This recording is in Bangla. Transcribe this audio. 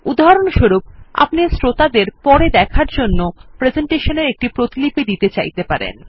উদাহরণস্বরূপ আপনি শ্রোতাদের পরে দেখার জন্য প্রেসেন্টেশন এর প্রতিলিপি দিতে চাইতে পারেন